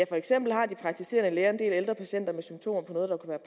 for eksempel har de praktiserende læger en del ældre patienter med symptomer på noget der kunne